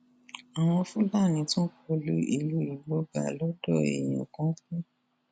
àwọn fúlàní tún kọ lu ìlú igbóbá lọdọ èèyàn kan kú